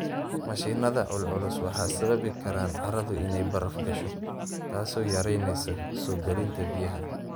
Mashiinada culculus waxay sababi karaan carradu inay baraf gasho, taasoo yaraynaysa soo galinta biyaha.